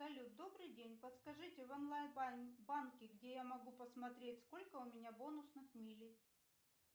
салют добрый день подскажите в онлайн банке где я могу посмотреть сколько у меня бонусных милей